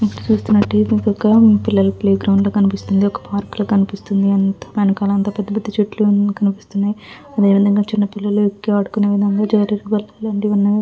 ఇక్కడ చూసినట్టయితే ఇది ఒక పిల్లల ప్లే గ్రౌండ్ లాగా కనిపిస్తుంది. ఒక పార్కు లాగా కనిపిస్తుంది. పెద్ద పెద్ద చెట్లు కనిపిస్తున్నయి. అదేవిధంగా పిల్లలు ఆడుకునే జారుడు బల్లలో --